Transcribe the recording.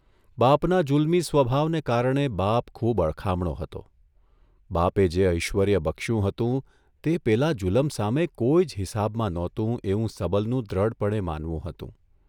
બાપના જુલ્મી સ્વભાવને કારણે બાપ ખૂબ અળખામણો હતો, બાપે જે ઐશ્વર્ય બક્યું હતું તે પેલા જુલમ સામે કોઇ જ હિસાબમાં નહોતું એવું સબલનું દ્રઢપણે માનવું હતું.